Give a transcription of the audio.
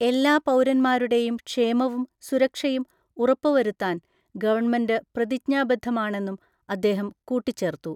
എല്ലാ പൗരന്മാരുടെയും ക്ഷേമവും സുരക്ഷയും ഉറപ്പ് വരുത്താൻ ഗവണ്മെന്റ് പ്രതിജ്ഞബദ്ധമാണെന്നും അദ്ദേഹം കൂട്ടിച്ചേർത്തു.